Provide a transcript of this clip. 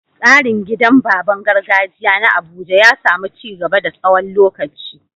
Tsarin gidan baban gargajiya na Abuja ya samu ci gaba a tsawon lokaci.